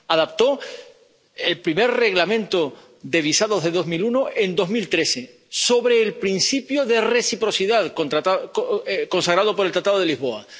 Adaptó el primer Reglamento de visados de 2001 en 2013 sobre el principio de reciprocidad consagrado por el Tratado de Lisboa.